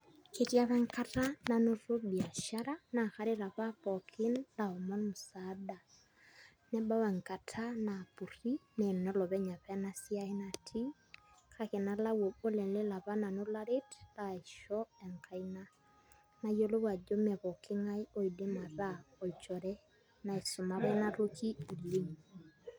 Ketii apa enkata nanoto biashara naa karet apa pooki laaomon musaada nebau enkata naapurri naa enolopeny apa ina siai natii kake nalau obo leleo apa nanu laret laisho enkaina nayiolou ajo mee pooki ng'ae oidim ataa olchore naisuma apa ina toki oleng'.